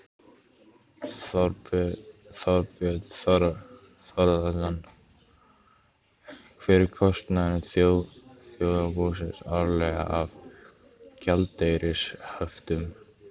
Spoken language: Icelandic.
Þorbjörn Þórðarson: Hver er kostnaður þjóðarbúsins árlega af gjaldeyrishöftum?